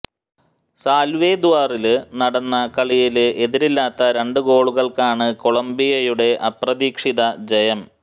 സാല്വദോറില് നടന്ന കളിയില് എതിരില്ലാത്ത രണ്ടു ഗോളുകള്ക്കാണ് കൊളംബിയയുടെ അപ്രതീക്ഷിത ജയം